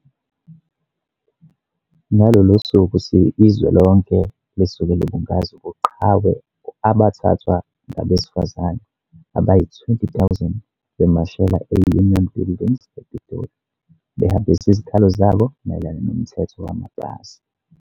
Ngalolu suku izwe lonke lisuke libungaza ubuqhawe abathathwa ngabesifazane abayi-20 000 bemashela eUnion Buildings ePitoli behambisa izikhalo zabo mayelana noMthetho wamapasi.